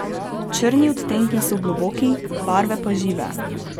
Črni odtenki so globoki, barve pa žive.